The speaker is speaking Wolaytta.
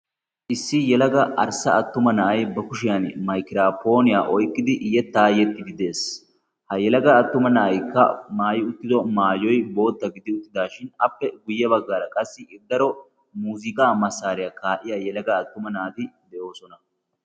issi yelaga arssa attuma na'ay ba kushiyan maykiraapooniyaa oyqqidi yettaa yexxidi dees ha yelaga attuma naa'aykka maay uttido maaliyoy bootta gidi uttidaashin appe guyye baggaara qassi iddaro muziga massaariyaa kaa'iya yelaga attuma naati de'oosona